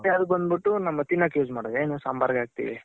ಮತ್ತೆ ಅಲ್ ಬಂದ್ ಬಿಟ್ಟು ನಮ್ಗ್ ತಿನ್ನಕ್ use ಮಾಡೋದು ಏನು ಸಾಂಬಾರ್ಗ್ ಹಾಕ್ತಿವಿ.